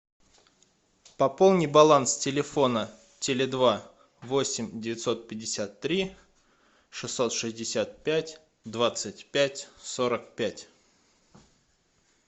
пополни баланс телефона теле два восемь девятьсот пятьдесят три шестьсот шестьдесят пять двадцать пять сорок пять